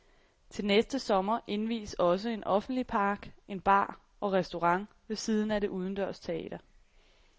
Til næste sommer indvies også en offentlig park, en bar og restaurant ved siden af det udendørs teater.